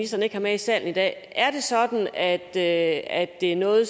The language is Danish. så ikke har med i salen i dag er det sådan at det er noget